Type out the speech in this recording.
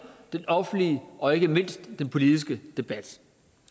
den offentlige og ikke mindst den politiske debat